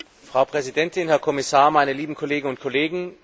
Frau Präsidentin, Herr Kommissar, meine lieben Kolleginnen und Kollegen!